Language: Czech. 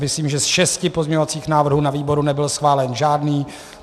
Myslím, že z 6 pozměňovacích návrhů na výboru nebyl schválen žádný.